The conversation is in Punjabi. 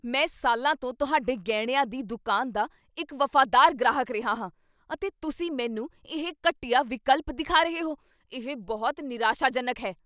ਮੈਂ ਸਾਲਾਂ ਤੋਂ ਤੁਹਾਡੇ ਗਹਿਣਿਆਂ ਦੀ ਦੁਕਾਨ ਦਾ ਇੱਕ ਵਫ਼ਾਦਾਰ ਗ੍ਰਾਹਕ ਰਿਹਾ ਹਾਂ, ਅਤੇ ਤੁਸੀਂ ਮੈਨੂੰ ਇਹ ਘਟੀਆ ਵਿਕਲਪ ਦਿਖਾ ਰਹੇ ਹੋ? ਇਹ ਬਹੁਤ ਨਿਰਾਸ਼ਾਜਨਕ ਹੈ।